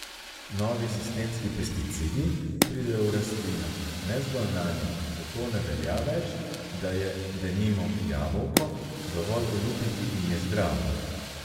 Novi sistemski pesticidi pridejo v rastlino, ne zgolj nanjo, zato ne velja več, da je, denimo, jabolko dovolj olupiti in je zdravo.